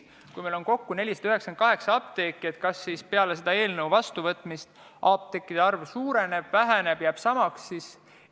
Kui meil on kokku 498 apteeki, siis kas peale selle eelnõu vastuvõtmist apteekide arv suureneb, väheneb või jääb samaks?